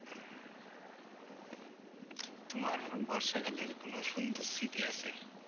তোমার বর্ষাকালের কোনো সুন্দর স্মৃতি আছে?